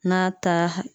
N'a ta